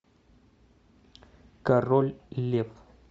король лев